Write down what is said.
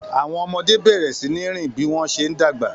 Àwọn ọmọdé bẹ̀rẹ̀ sí ní rìn bí wọ́n ṣe ń dàgbà